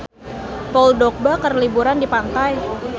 Paul Dogba keur liburan di pantai